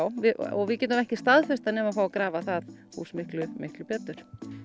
og við getum ekki staðfest það nema fá að grafa það hús miklu miklu betur